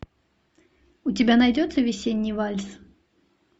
у тебя найдется весенний вальс